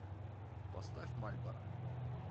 поставь мальборо